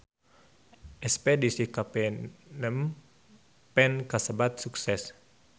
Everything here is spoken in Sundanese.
Espedisi ka Phnom Penh kasebat sukses